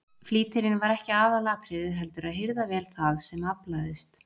Flýtirinn var ekki aðalatriðið heldur að hirða vel það sem aflaðist.